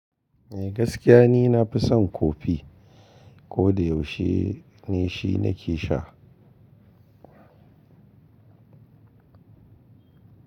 Eh gaskiya ni nafi son coffee. Ko da yaushe ni shi na ke sha.